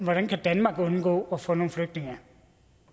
danmark kan undgå at få nogle flygtninge